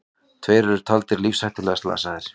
Tveir eru taldir lífshættulega slasaðir